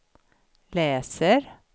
läser